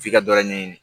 F'i ka dɔ ɲɛɲini